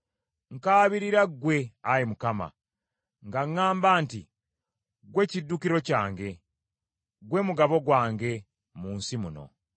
Nkaabirira ggwe, Ayi Mukama , nga ŋŋamba nti, “Ggwe kiddukiro kyange, ggwe mugabo gwange mu nsi muno.”